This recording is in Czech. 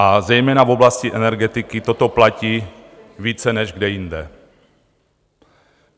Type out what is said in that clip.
A zejména v oblasti energetiky toto platí více než kde jinde.